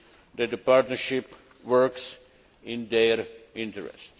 that the partnership works in their interest.